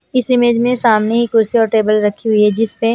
इस इमेज में सामने ही कुर्सी और टेबल रखी हुई है जिस पे--